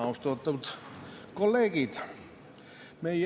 Austatud kolleegid!